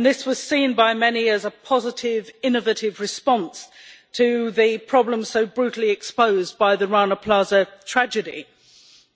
This was seen by many as a positive innovative response to the problem so brutally exposed by the Rana Plaza tragedy